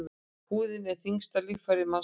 Húðin er þyngsta líffæri mannslíkamans.